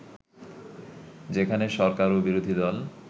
যেখানে সরকার ও বিরোধীদল